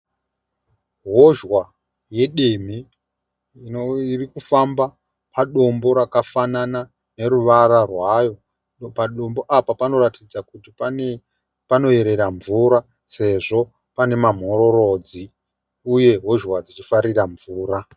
Hozhwa yedemhe iri kufamba padombo rakafanana neruvara rwayo . Padombo apa panoratidza kuti panoyerera mvura sezvo pane mamhororodzi uye hozhwa dzichifarira mvura.